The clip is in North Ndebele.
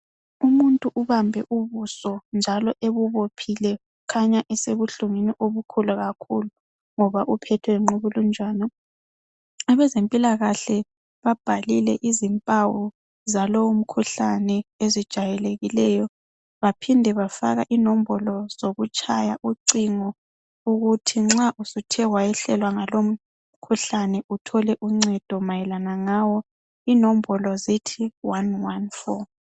Umuntu ubambe ubuso njalo ebubophile kukhanya esebuhlungwini obukhulu kakhulu ngoba uphethwe yingqukulunjana. Abezempilakahle babhalile izimpawu zalowo mkhuhlane ezijayelekileyo baphinde bafaka inombolo zokutshaya ucingo ukuthi nxa usuthe wayehlelwa ngalo mkhuhlane uthole uncedo mayelana ngawo. Inombolo zithi 114.